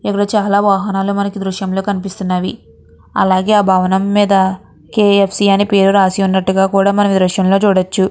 ఇక్కడ చాలా వాహనాలు మనకు దృశ్యంలో కనిపిస్తున్నవి. అలాగే భవనం మీద కే.ఫ్.సి. అని పేరు రాసి ఉన్నట్టుగా కూడా మనమే దృశ్యంలో చూడొచ్చు.